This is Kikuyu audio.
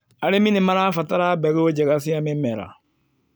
Arĩmi nĩ marabatara mbegũ njega cia mĩmera.